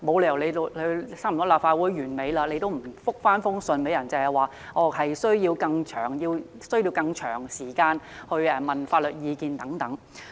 立法會會期已差不多屆滿，政府沒有理由仍不回覆，只推說需要更長時間來詢問法律意見等。